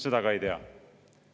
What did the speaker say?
Seda ka ei tea.